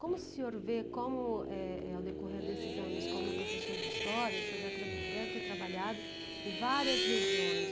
Como o senhor vê, como eh eh ao decorrer desses anos como professor de história, o senhor deve ter deve ter trabalhado em várias regiões.